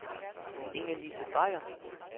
Ingelise Beyer